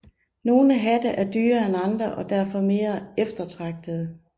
Nogle hatte er dyrere end andre og derfor mere eftertragtede